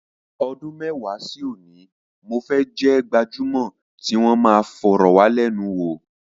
Ọdún mẹ́wàá sí òní, mo fẹ́ jẹ́ gbajúmọ̀ tí wọn máa fọ̀rọ̀wálẹ́nuwò.